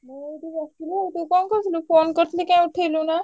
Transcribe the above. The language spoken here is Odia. ମୁଁ ଏଇଠି ବସିଥିଲି ତୁ କଣ କରୁଥିଲୁ phone କରିଥିଲି କାଇଁ ଉଠେଇଲୁନୁ?